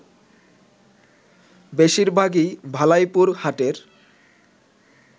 বেশিরভাগই ভালাইপুর হাটের